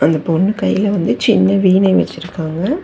அந்தப் பொண்ணு கைல வந்து சின்ன வீணை வெச்சிருக்காங்க.